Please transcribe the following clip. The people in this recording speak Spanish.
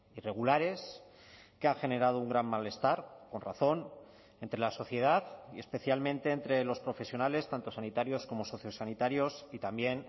irregulares que ha generado un gran malestar con razón entre la sociedad y especialmente entre los profesionales tanto sanitarios como sociosanitarios y también